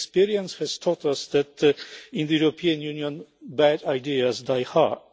Experience has taught us that in the European Union bad ideas die hard.